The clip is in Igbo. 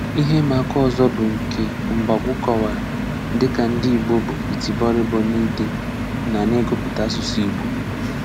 Ihè ìmàákà ọzọ bụ nke Mbagwu kọ̀wárà dịka ndị Ìgbò íbù ìtì bọ̀rìbọ̀ n’íde na n’ìgụpụ̀tà asụ̀sụ́ Ìgbò.